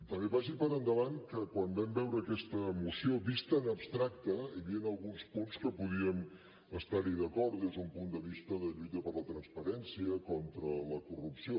també vagi per endavant que quan vam veure aquesta moció vista en abstracte hi havien alguns punts que podíem estar hi d’acord des d’un punt de vista de lluita per la transparència i contra la corrupció